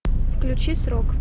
включи срок